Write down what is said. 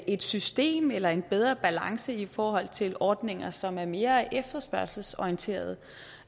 et system eller en bedre balance i forhold til ordninger som er mere efterspørgselsorienteret